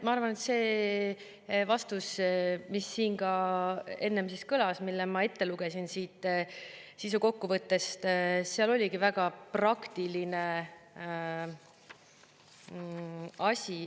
Ma arvan, et selles vastuses, mis siin ka enne kõlas ja mille ma ette lugesin siit sisukokkuvõttest, sisalduski väga praktiline asi.